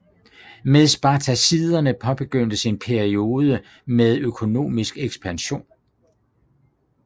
Med Spartaciderne påbegyndtes en peiode med økonomisk ekspansion